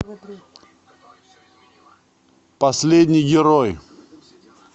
последний герой